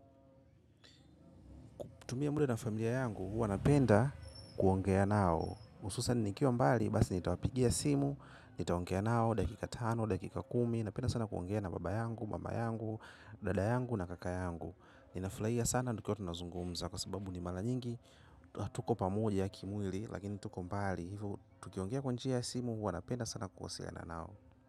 Kutumia muda na familia yangu, huwa napenda kuongea nao. Hususan nikiwa mbali basi nitawapigia simu, nitaongea nao dakika tano, dakika kumi. Napenda sana kuongea na baba yangu, mama yangu, dada yangu na kaka yangu. Ninafurahia sana nikiwa tunazungumza kwa sababu ni mara nyingi. Tuko pamoja kimwili, lakini tuko mbali. Hivyo, tukiongea kwa njia ya simu, huwa napenda sana kuoseana nao.